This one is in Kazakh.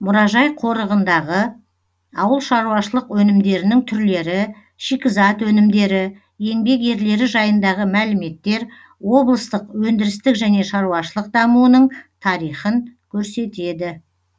мұражай қорығындағы ауыл шаруашылық өнімдерінің түрлері шикізат өнімдері еңбек ерлері жайындағы мәліметтер облыстық өндірістік және шаруашылық дамуының тарихын көрсетеді